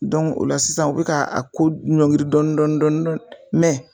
o la sisan u bɛka a ko ɲɔgirin dɔɔni dɔɔni dɔɔni dɔɔni mɛ